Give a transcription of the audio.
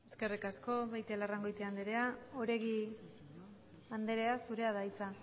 eskerrik asko beitialarrangoitia andrea oregi andrea zurea da hitza